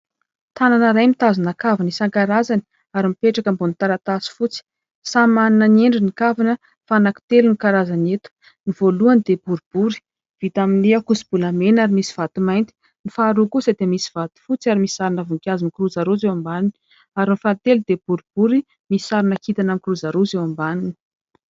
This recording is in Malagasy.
Tanana iray mitazona kavina isan-karazany ary mipetraka ambony taratasy fotsy. Samy manana ny endriny ny kavina fa anankitelo no karazany eto. Ny voalohany dia boribory vita amin'ny ankoso-bolamena ary misy vato mainty, ny faharoa kosa dia misy vato fotsy ary misy sarina voninkazo mikirozaroza eo ambany, ary ny fahatelo dia boribory misy sarina kintana mikirozaroza eo ambany.